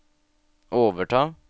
overta